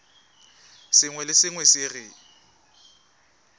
sengwe le sengwe se re